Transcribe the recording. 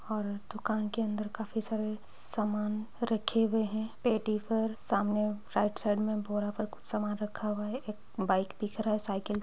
और दुकान के अंदर काफी सारे समान रखे हुए हैं पेटी पर सामने राइट साइड में बोरा पर कुछ समान रखा हुआ है एक बाइक दिख रहा है साईकल --